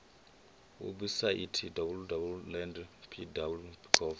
webusaithi www land pwv gov